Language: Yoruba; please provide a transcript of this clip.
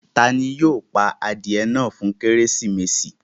Tani yóò pà adiẹ̀ náà fún Kérésímesì?